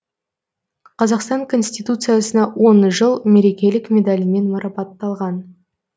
қазақстан конституциясына он жыл мерекелік медалімен марапатталған